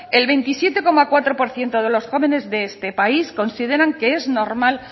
el veintisiete coma cuatro por ciento de los jóvenes de este país consideran que es normal